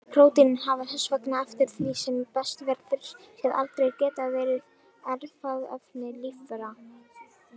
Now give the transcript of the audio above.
Prótínin hafa þess vegna eftir því sem best verður séð aldrei getað verið erfðaefni lífvera.